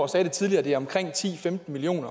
sagde det tidligere det er omkring ti til femten million